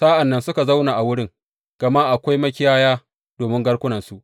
Sa’an nan suka zauna a wurin, gama akwai makiyaya domin garkunansu.